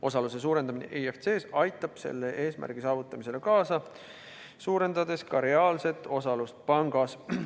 Osaluse suurendamine IFC-s aitab selle eesmärgi saavutamisele kaasa, suurendades ka reaalset osalust pangas.